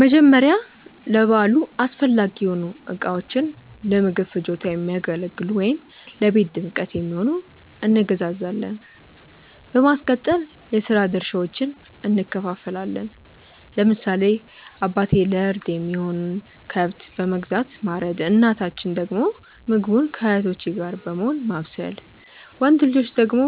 መጀመርያ ለበዓሉ አስፈላጊ የሆኑ እቃዎችን(ለምግብ ፍጆታ የሚያገለግሉ ወይም ለቤት ድምቀት የሚሆን)እንገዛዛለን። በማስቀጠል የስራ ድርሻዎችን እንከፋፈላለን። ለምሳሌ አባቴ ለእርድ የሚሆነውን ከብት በመግዛት ማረድ እናታችን ደግሞ ምግቡን ከእህቶቼ ጋር በመሆን ማብሰል። ወንድ ልጆች ደግሞ